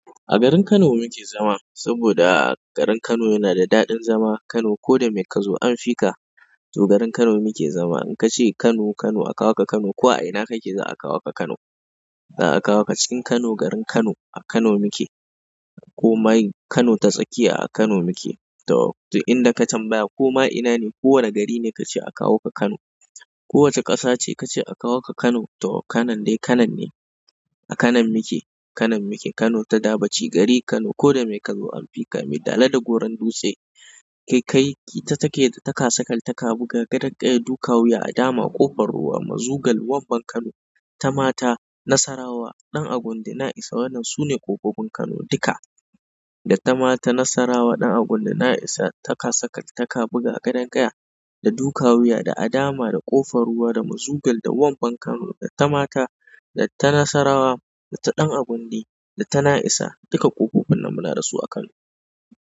A garin Kano muke zama, saboda garin Kano yana da daɗin zama. Kano ko da mai ka zo an fi ka, to garin Kano muke zama. In ka ce Kano Kano akawo ka Kano, ko a ina kake za a kawo ka Kano. Za a kawo ka cikin Kano, garin Kano. A Kano muke. Komai in Kano ta tsakiya a Kano muke. To, duk inda ka tambaya ko ma ina ne, ko wane gari ne kace a kawo ka Kano. Ko wace ƙasa ce kace a kawo ka Kano, to Kanon dai Kanon ne. A Kanon muke, Kanon muke. Kano ta dabo ci gari. Kano ko da me ka zo an fi ka. Mai dala da goron dutse, kaikayi, ita take da takasakataka, buga gaden ƙaya, duka wuya, adama, ƙofar ruwa, mazugal, wamban Kano, ta mata, nasarawa, ɗan agundi, na isa. Waɗannan su ne kofofin Kano duka. Da ta mata, nasarawa, ɗan agundi, na isa, takasakataka, ta kabuga, ta gadon ƙaya, da duka wuya, da adama, da ƙofar ruwa, da mazugal, da wamban Kano, da ta mata, da ta nasarawa, da ta ɗan agundi, da ta na isa. Duka kofofin nan muna da su a Kano.